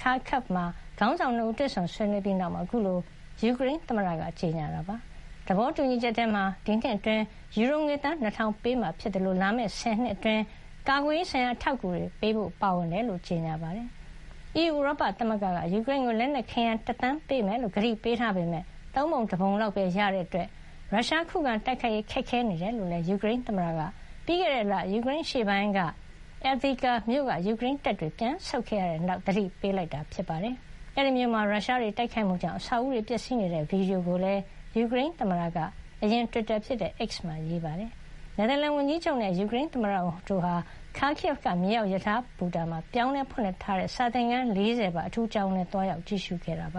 Kharkiv မှာ ခေါင်းဆောင် ၂ ဦး တွေ့ဆုံဆွေးနွေးပြီးနောက်မှာ အခုလို ယူကရိန်းသမ္မတက ကြေညာခဲ့တာ ဖြစ်ပါတယ်။ သဘောတူညီချက်ထဲမှာ ဒီနှစ်အတွင်း ယူရိုငွေ သန်း ၂ ထောင်ပေးအပ်မှာဖြစ်သလို လာမယ့် ၁၀ နှစ်အတွင်း ကာကွယ်ရေးဆိုင်ရာ အထောက်အကူတွေပေးဖို့ ပါဝင်တယ်လို့ ကြေညာတာပါ။ အီးယူ ဥရောပသမဂ္ဂက ယူကရိန်းကို လက်နက်ခဲယမ်း ၁ သန်း ပေးမယ်လို့ ကတိပေးထားပေမဲ့ သုံးပုံ တပုံလောက်ပဲ ရတာကြောင့် ရုရှားကို ခုခံတိုက်ခိုက်ရေး ခက်ခဲနေတယ်လို့ ယူကရိန်းသမ္မတက ပြီးခဲ့တဲ့လ ယူကရိန်းအရှေ့ပိုင်းက Avdiivka မြို့ကနေ ယူကရိန်းတပ်တွေ ပြန်ဆုတ်ခဲ့ရပြီးနောက် သတိပေးခဲ့တာ ဖြစ်ပါတယ်။ အဲဒီမြို့မှာ ရုရှားတွေ တိုက်ခိုက်မှုကြောင့် အဆောက်အဦးတွေ ပျက်စီးနေတဲ့ ဗီဒီယိုကိုလည်း ယူကရိန်း သမ္မတ Zelenskyy က အရင်က တွစ်တာဖြစ်တဲ့- X မှာရေးပါတယ်။ နယ်သာလန်ဝန်ကြီးချုပ်နဲ့ ယူကရိန်းသမ္မတ တို့ဟာ Kharkiv က မြေအောက် ရထားဘူတာမှာ ပြောင်းလဲဖွင့်လှစ်ထားတဲ့ စာသင်ခန်း ၄၀ ပါ အထူးကျောင်းကိုလည်း သွားရောက် ကြည့်ရှုခဲ့ပ